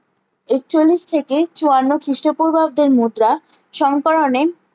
একচল্লিশ থেকে চুয়ান্ন খিস্ট পূর্বাব্দের মুদ্রা সংকরণে